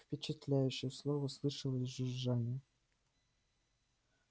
впечатляющее слово слышалось жужжание